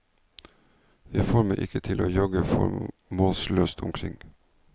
Jeg får meg ikke til å jogge formålsløst omkring.